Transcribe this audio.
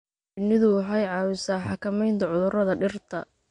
Shinnidu waxay caawisaa xakamaynta cudurrada dhirta.